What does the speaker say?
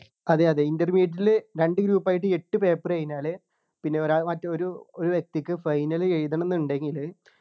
അതെ അതെ Intermediate ല് രണ്ട് group ആയിട്ട് എട്ടു paper കഴിഞ്ഞാല് പിന്നെ ഒരാ മറ്റേ ഒരു ഒരു വ്യക്തിക്ക് final എഴുതണന്നുണ്ടെങ്കിലു